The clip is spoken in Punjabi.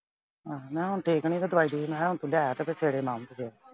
ਆਹੋ ਮੈਂ ਕਿਹਾ ਹੁਣ ਠੀਕ ਐ। ਨਈਂ ਤਾਂ ਦਵਾਈ ਦਵੁਈ ਮਖਾਂ ਲੈ ਆਇਓ ਸਵੇਰੇ ਮੈਂ ਆਉਂ ਫਿਰ।